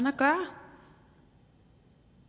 at gøre